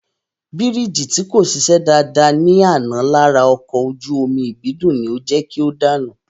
Bírìjì tí kò ṣiṣẹ́ dáadáa ní àná lára ọkọ̀ ojú omi Ìbídùn ni ó jẹ́ kí o dànù